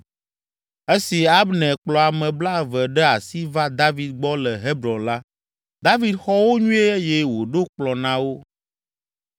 Esi Abner kplɔ ame blaeve ɖe asi va David gbɔ le Hebron la, David xɔ wo nyuie eye wòɖo kplɔ̃ na wo.